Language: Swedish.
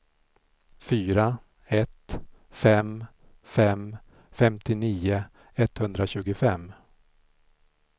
fyra ett fem fem femtionio etthundratjugofem